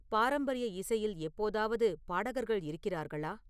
பாரம்பரிய இசையில் எப்போதாவது பாடகர்கள் இருக்கிறார்களா